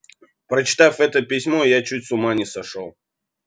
прочитав это письмо я чуть с ума не сошёл